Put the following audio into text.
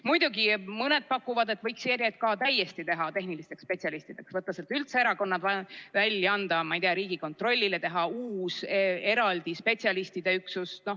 Muidugi, mõni pakub, et võiks ERJK luua täiesti tehnilistest spetsialistidest, võtta sealt üldse erakonnad välja, anda, ma ei tea, Riigikontrollile, teha uus, eraldi spetsialistide üksus.